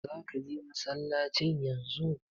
Zaka je masallacin yanzu?